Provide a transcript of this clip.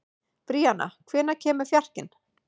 Bríanna, hvenær kemur fjarkinn?